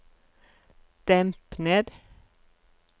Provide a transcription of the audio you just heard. demp ned